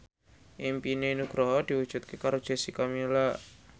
impine Nugroho diwujudke karo Jessica Milla